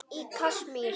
Í Kasmír,